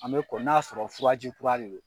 An bɛ kɔn n'a y'a sɔrɔ furaji kura de do.